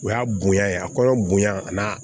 O y'a bonya ye a kɔnɔ bonya a n'a